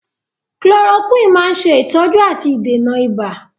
Chloroquine máa ń ṣe ìtọ́jú àti ìdènà ibà